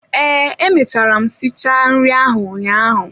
Ee, emechara m si cha nri ahụ ụnyaahụ